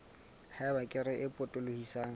ha eba kere e potolohisang